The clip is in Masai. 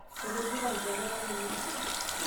etejeita inkejek ainei